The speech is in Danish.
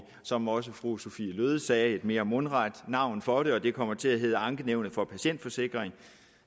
som også fru sophie løhde sagde et mere mundret navn for det og det kommer til at hedde ankenævnet for patientforsikringen